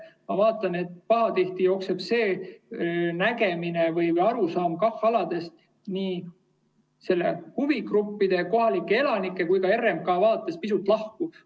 Ma vaatan, et pahatihti jookseb see arusaam KAH‑aladest huvigruppide, kohalike elanike ja RMK vaates pisut lahku.